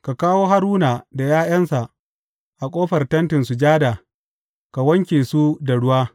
Ka kawo Haruna da ’ya’yansa a ƙofar Tentin Sujada ka wanke su da ruwa.